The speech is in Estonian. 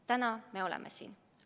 Täna me oleme siin.